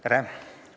Tere!